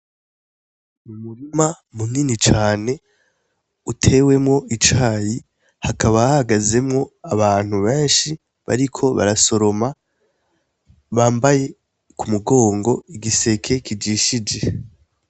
Umurima munini cane utewemwo icayi, hakaba hahagazemwo abantu benshi bariko barasoroma bambaye k'umugongo igiseke kajishe.